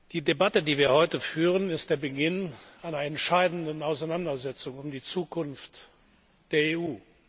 Die Debatte, die wir heute führen, ist der Beginn einer entscheidenden Auseinandersetzung um die Zukunft der EU.